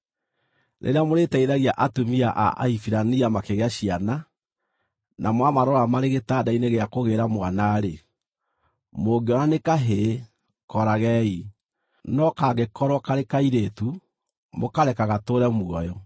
“Rĩrĩa mũrĩteithagia atumia a Ahibirania makĩgĩa ciana, na mwamarora marĩ gĩtanda-inĩ gĩa kũgĩĩra mwana-rĩ, mũngĩona nĩ kahĩĩ kooragei, no kangĩkorwo karĩ kairĩtu, mũkareka gatũũre muoyo.”